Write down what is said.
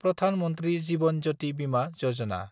Pradhan Mantri Jeevan Jyoti Bima Yojana